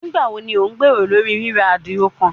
Nigbawo ni o gbero lori rira adiro kan?